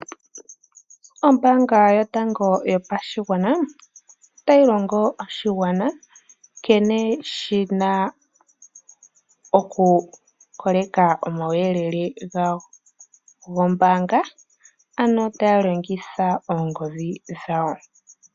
Ombaanga yotango yopashigwana otayi longo oshigwana nkene shi na okuholeka omauyelele gawo gombaanga, ano taa longitha oongodhi dhawo.